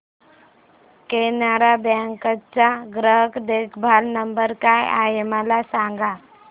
Canara bank चा ग्राहक देखभाल नंबर काय आहे मला सांगा